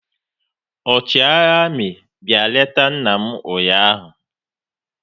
Ọchịagha amị bịa leta nna m ụnyaahụ